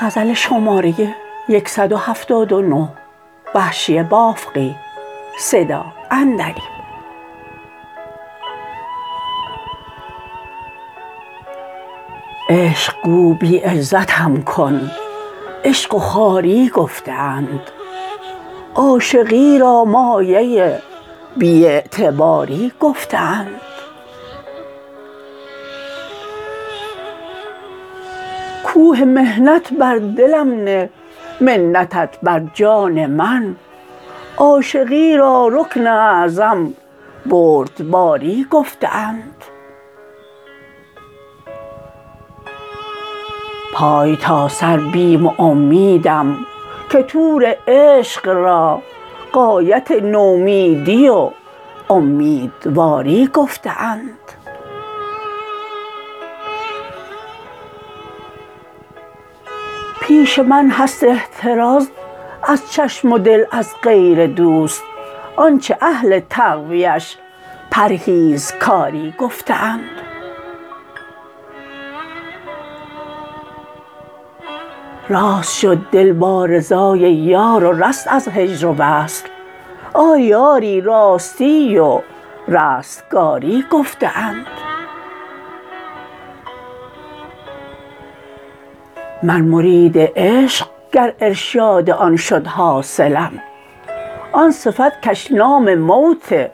عشق گو بی عزتم کن عشق و خواری گفته اند عاشقی را مایه بی اعتباری گفته اند کوه محنت بر دلم نه منتت بر جان من عاشقی را رکن اعظم بردباری گفته اند پای تا سر بیم و امیدم که طور عشق را غایت نومیدی و امیدواری گفته اند پیش من هست احتراز از چشم و دل از غیر دوست آنچه اهل تقویش پرهیزکاری گفته اند راست شد دل با رضای یار و رست از هجر و وصل آری آری راستی و رستگاری گفته اند من مرید عشق گر ارشاد آن شد حاصلم آن صفت کش نام موت